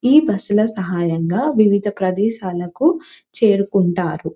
ఈ బస్సు ల సహాయంగా వివిధ ప్రదేశాలకు చేరుకుంటారు.